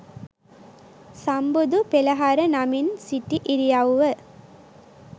සම්බුදු පෙළහර නමින් සිටි ඉරියව්ව